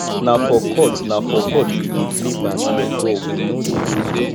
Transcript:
na for court na for court we dey play basket ball we no dey go field